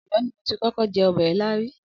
Ọ̀yọ́ ni mo ti kọ́kọ́ jẹ ọbẹ̀ ilá rí.